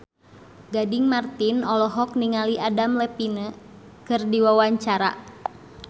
Gading Marten olohok ningali Adam Levine keur diwawancara